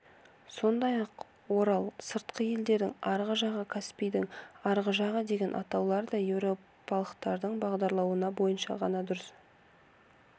сондай-ақ орал сырты еділдің арғы жағы каспийдің арғы жағы деген атаулар да еуропалықтардың бағдарлауы бойынша ғана дұрыс